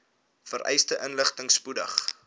vereiste inligting spoedig